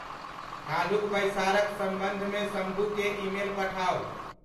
काल्हुक बैसारक संबंध मे सम्भूकें ईमेल पठाउ ।